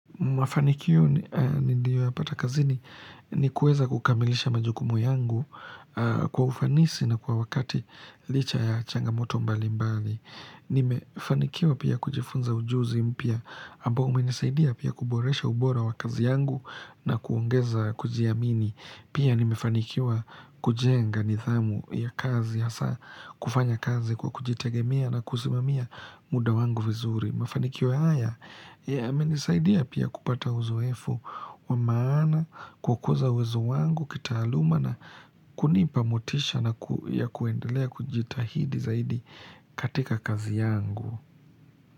Mafanikio ni niliyo ya patakazini ni kueza kukamilisha majukumu yangu kwa ufanisi na kwa wakati licha ya changamoto mbali mbali. Nimefanikiwa pia kujifunza ujuzi mpya ambao umenisaidia pia kuboresha ubora wa kazi yangu na kuongeza kujiamini. Pia nimefanikiwa kujenga nidhamu ya kazi hasa kufanya kazi kwa kujitegemia na kusimamia muda wangu vizuri. Mafanikio haya yamenisaidia pia kupata uzoefu wa maana, kukuza uwezo wangu, kitaaluma na kunipa motisha na kuendelea kujitahidi zaidi katika kazi yangu.